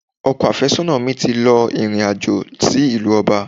Ọkọ àfésónà mi ti lọ ìrìn àjò sí ìlú Ọba